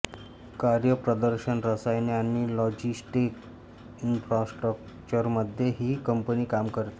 कार्यप्रदर्शन रसायने आणि लॉजिस्टिक इन्फ्रास्ट्रक्चरमध्ये ही कंपनी काम करते